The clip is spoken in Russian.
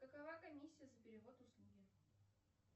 какова комиссия за перевод услуги